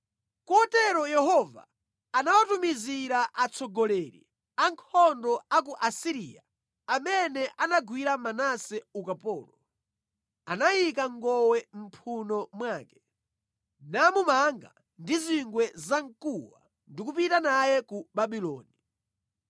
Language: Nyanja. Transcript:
Kotero Yehova anawatumizira atsogoleri a ankhondo a ku Asiriya amene anagwira Manase ukapolo, anayika ngowe mʼmphuno mwake, namumanga ndi zingwe zamkuwa ndi kupita naye ku Babuloni.